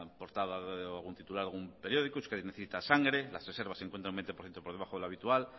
portada algún titular de algún periódico euskadi necesita sangre las reservas se encuentran un veinte por ciento por debajo de lo habitual